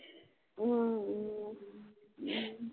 உம் உம் ஹம்